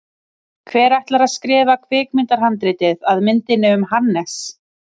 Hver ætlar að skrifa kvikmyndahandritið að myndinni um Hannes?